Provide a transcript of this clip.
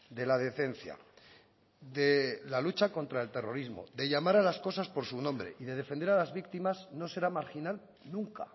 de la decencia de la lucha contra el terrorismo de llamar a las cosas por su nombre y de defender a las víctimas no será marginal nunca